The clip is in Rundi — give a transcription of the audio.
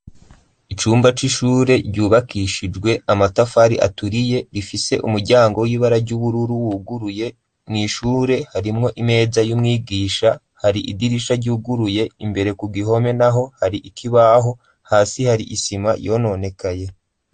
Icumba c'ishure ryubakishijwe amatafari aturiye, rifise umuryango w'ibara ry'ubururu wuguruye, mw'ishure harimwo imeza y'umwigisha, hari idirisha ryuguruye, imbere ku gihome naho hari ikibaho, hasi hari isima yononekaye.